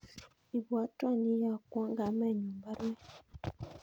Ibwotwon ye iyokwon kamenyun baruet